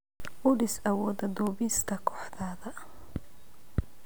U dhis awooda duubista kooxdaada.